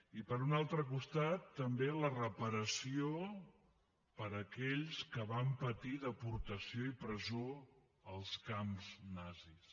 i per un altre costat també la reparació per a aquells que van patir deportació i presó als camps nazis